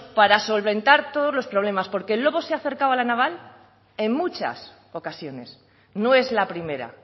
para solventar todos los problemas porque el lobo se ha acercado a la naval en muchas ocasiones no es la primera